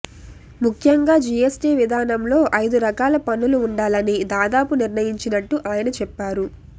ముఖ్యంగా జీఎస్టీ విధానంలో ఐదురకాల పన్నులు ఉండాలని దాదాపు నిర్ణయించినట్టు ఆయన చెప్పారు